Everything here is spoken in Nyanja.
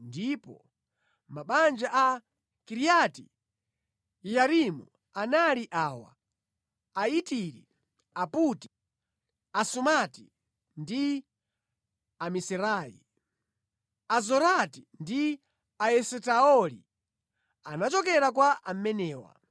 ndipo mabanja a Kiriati-Yeyarimu anali awa: Aitiri, Aputi, Asumati ndi Amisirai. Azorati ndi Aesitaoli anachokera kwa amenewa.